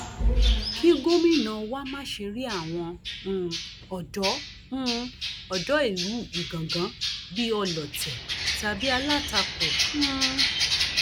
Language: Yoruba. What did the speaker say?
kí gómìnà wá má ṣe rí àwọn um odò um odò ìlú ìgangan bíi ọlọtẹ tàbí alátakò um